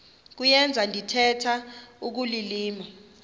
kuyenza ndithetha ukulilima